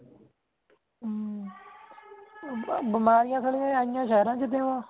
ਹਮਸਾਰੀਆਂ ਆਇਆ ਸ਼ੇਰਾਂ ਤੋਹ